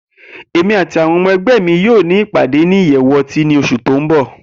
Emi ati awọn ọmọ ẹgbẹ mi yoo ni ipade ni iyẹwu ọti ni oṣu ti n bọ.